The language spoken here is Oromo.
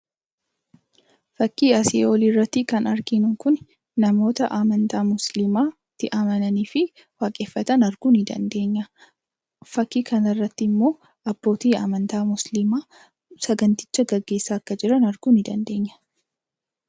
Fakkii asii olii irratti kan arginu kun namoota amantaa Muslimaatti amananii fi waaqeffatan arguu ni dandeenya. Fakkii kana irratti immoo abbootii amantaa Muslimaa saganticha geggeessaa akka jiran arguu ni dandeenya.